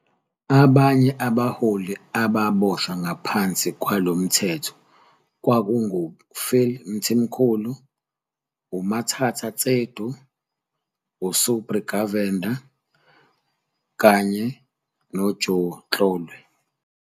Obanye abaholi ababoshwa ngaphansi kwalo mthetho kwakungoPhil Mtimkhulu, uMathatha Tsedu, uSubri Govende kanye noJoe Thloloe.